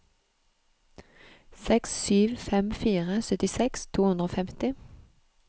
seks sju fem fire syttiseks to hundre og femti